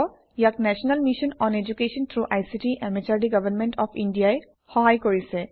ইয়াক national mission on education through ICT MHRD government of India ই সহায় কৰিছে